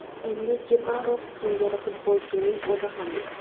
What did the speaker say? Endi Jeparov singari futbolchining o‘zi ham yo‘q.